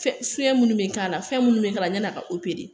Fɛn minnu bɛ k'a la, fɛn minnu bɛ k'a la, fɛn minnu bɛ k'a la, yan'a ka opere.